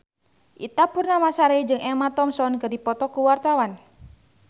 Ita Purnamasari jeung Emma Thompson keur dipoto ku wartawan